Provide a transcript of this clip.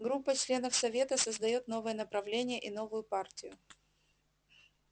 группа членов совета создаёт новое направление и новую партию